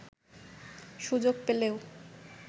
সুযোগ পেলেও